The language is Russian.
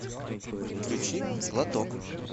включи глоток